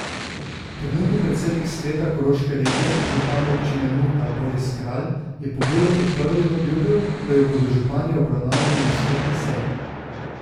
Trenutni predsednik sveta koroške regije, župan Občine Muta Boris Kralj, je pobudo podprl in obljubil, da jo bodo župani obravnavali na skupni seji.